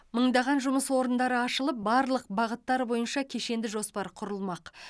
мыңдаған жұмыс орындары ашылып барлық бағыттар бойынша кешенді жоспар құрылмақ